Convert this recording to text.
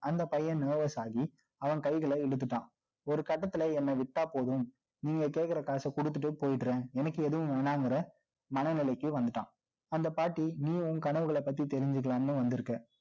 அந்த பையன் nervous ஆகி, அவன் கைகளை இழுத்துட்டான்ஒரு கட்டத்துல என்னை விட்டா போதும், நீங்க கேட்கிற காசை கொடுத்துட்டு போயிடுறேன். எனக்கு எதுவும் வேணாம்ங்கிற, மனநிலைக்கு வந்துட்டான். அந்த பாட்டி, நீ உன் கனவுகளை பத்தி தெரிஞ்சுக்கலாம்ன்னு வந்திருக்க